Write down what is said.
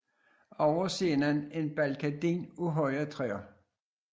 Over scenen en baldakin af høje træer